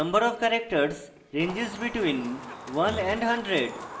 number of characters ranges between 1 and 100